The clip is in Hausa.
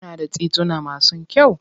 Kuna da tituna masu kyau?